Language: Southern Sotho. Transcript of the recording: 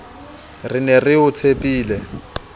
re ne re o tshepile